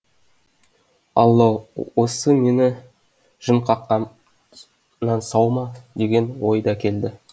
алла ау осы мені жын қаққаннан сау ма деген ой да келді